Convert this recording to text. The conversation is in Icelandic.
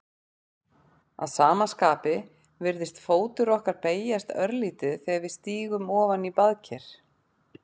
Að sama skapi virðist fótur okkar beygjast örlítið þegar við stígum ofan í baðker.